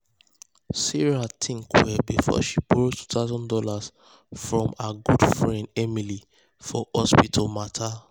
sarah um think well um before she borrow two thousand dollars from her good friend emily for hospital matter.